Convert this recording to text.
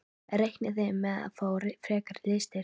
Reiknið þið með að fá frekari liðsstyrk?